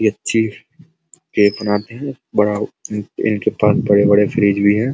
ये cheese cake बनाती है बड़ाइनके पास बड़े-बड़े फ्रिज भी हैं।